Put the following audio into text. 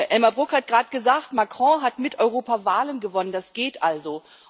Elmar Brok hat gerade gesagt Macron hat mit Europa Wahlen gewonnen das geht also.